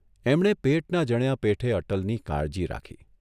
એમણે પેટના જણ્યા પેઠે અટલની કાળજી રાખી.